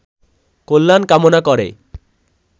কল্যাণ কামনা করে